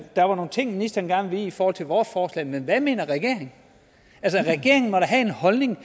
der var nogle ting ministeren gerne ville i forhold til vores forslag men hvad mener regeringen altså regeringen må da have en holdning